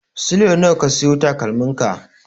Sule nawa ka siyo takalmin ka?